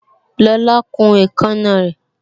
Lola kun èékánná rè